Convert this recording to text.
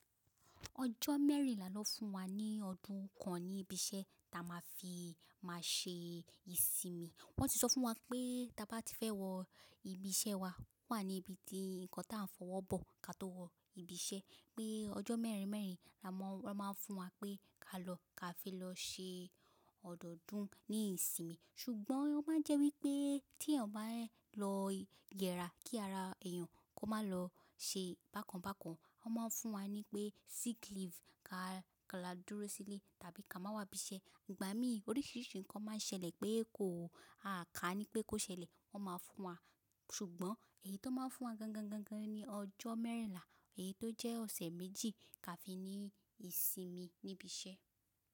Ọjọ́ mẹ́rìnlá ló fún wa ní ọdún kan ni ibiṣẹ́ ta má fi má ṣe ìsinmi. Wọ́n ti sọ fún wa pé ta bá ti fẹ́ wo ibiṣẹ́ wa, wà níbi tí ǹkan ta ń fọ owó bó ká tó wo ibiṣẹ́. Pé ọjọ́ mẹ́rin mẹ́rin wọ́n má fún wa pé ká lọ ká fi lò ṣe ọdún ní ìsinmi. Ṣùgbọ́n ó má jẹ́ wípé tí eyan bá lọ yẹra kí ara èyàn kó má lọ ṣe bakán bakán, wọ́n má fún wa nípé sick leave ká lọ dúró sílẹ̀ tàbí ká má wá ibiṣẹ́. Ìgbà míì oríṣiríṣi ǹkan má ṣẹlẹ̀ pé ko a ká nípé kò ṣẹlẹ̀ wọ́n má fún wa. Ṣùgbọ́n èyí tó má fún wa gan gan gan gan ni ọjọ́ mẹ́rìnlá, èyí tó jẹ́ ọ̀sẹ̀ méjì ká fi ní ìsinmi nibise.